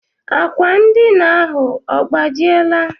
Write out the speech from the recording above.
Akwa ndina ahụ ọ gbajiela?